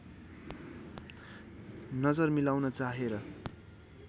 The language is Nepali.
नजर मिलाउन चाहेर